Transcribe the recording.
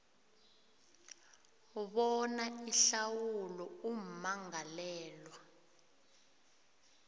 bona ihlawulo ummangalelwa